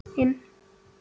En hver eru grunnlaunin?